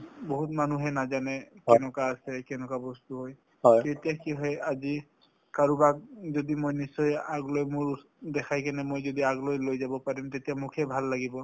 বহুত মানুহে নাজানে কেনেকুৱা আছে কেনেকুৱা বস্তু হয় তেতিয়া কি হয় আজি কাৰোবাক যদি মই নিশ্চয় আগ লৈ মোৰ দেখাই কিনে মই যদি আগলৈ লৈ যাব পাৰিম তেতিয়া মোক হে ভাল লাগিব ।